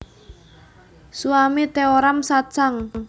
Swami Teoram Satsang